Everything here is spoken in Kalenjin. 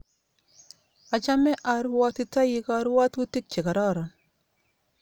Achame arwotitoi karwotutik che kororon